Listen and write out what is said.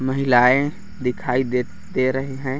महिलाएं दिखाई दे दे रही हैं।